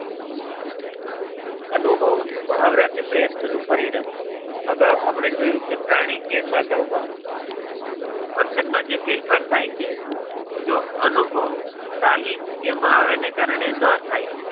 અનુભવ, મહાવરા કે પ્રયત્ન નું પરિણામ. અગાઉ આપણે જોયું કે પ્રાણી કે માનવ માં વર્તનમાં જે ફેરફાર થાય છે, જો અનુભવ, તાલીમ કે મહાવરા ને કારણે ના થાય.